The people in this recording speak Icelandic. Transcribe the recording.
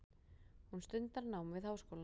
Hún stundar nám við háskólann.